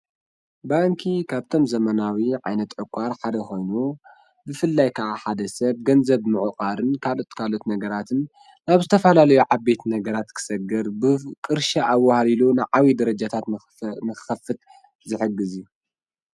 ባንኪ ካብተን ዘመናዊ ዓይነት ዕቛር ሓደ ኮይኑ፣ ብፍላይ ከዓ ሓደ ሰብ ገንዘብ ምዕቋርን ካልኦት ካልኦት ነገራትን ኣብ ዝተፈላለዩ ዓበይቲ ነገራት ክሰግር ብ ቅርሺ ኣዋህሊሉ ንዓብዪ ደረጃታት ንኽኸፍት ዝሕግዝ እዩ።